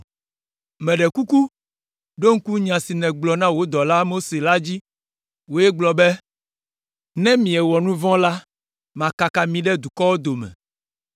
“Meɖe kuku, ɖo ŋku nya si nègblɔ na wò dɔla, Mose la dzi! Wòe gblɔ be: ‘Ne miewɔ nu vɔ̃ la, makaka mi ɖe dukɔwo dome,